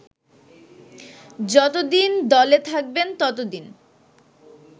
যতদিন দলে থাকবেন ততদিন